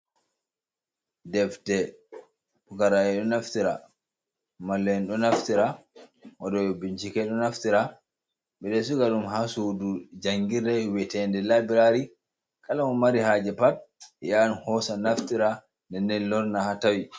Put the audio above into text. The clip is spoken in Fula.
Defte: Pukaraɓe ɗo naftira, mallu'en ɗo naftira, waɗoɓe bincike ɗo naftira, ɓeɗo siga ɗum ha sudu jangirde wietende labirari kala mo mari haaje pat hosa naftira nden nden lora lorna ha tawi.